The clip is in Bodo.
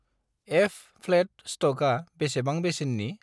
एफ.फ्लेट स्ट'कआ बेसेबां बेसेननि?